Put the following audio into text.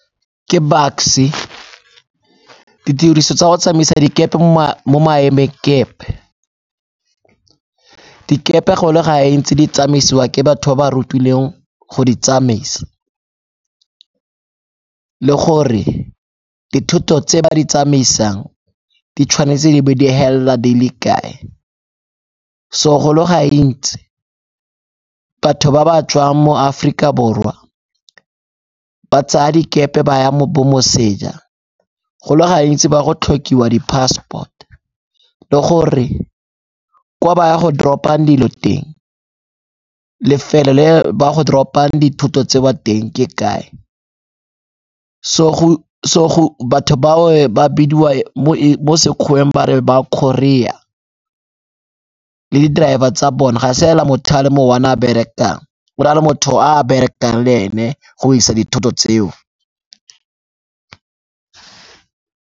Ke Bucks-e, ditiriso tsa go tsamaisa dikepe mo maemengkepe, dikepe go le gantsi di tsamaisiwa ke batho ba rutilweng go di tsamaisa le gore dithoto tse ba di tsamaisang di tshwanetse di be di helela di le kae. So go le gantsi batho ba ba tswang mo Aforika Borwa ba tsaya dikepe ba ya mo bo moseja, go le gantsi baya go tlhokiwa di-passport le gore kwa ba ya go drop-a dilo teng, lefelo le ba go drop-a dithoto tseo teng ke kae. So batho bao ba bidiwa mo Sekgoweng ba re ba courier le di-driver tsa bone ga se hela motho a le mo one a berekang o na le motho o a berekang le ene go isa dithoto tseo.